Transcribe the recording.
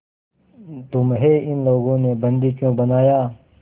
तुम्हें इन लोगों ने बंदी क्यों बनाया